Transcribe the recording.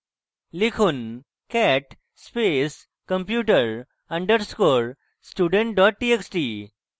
লিখুন cat space computer underscore student cat txt